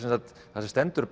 þar sem stendur